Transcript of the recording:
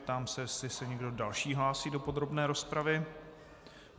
Ptám se, jestli se někdo další hlásí do podrobné rozpravy.